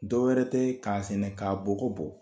Dɔw wɛrɛ tɛ k'a sɛnɛ k' bɔgɔ bɔ